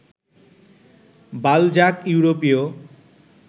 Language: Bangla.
বালজাক ইউরোপীয়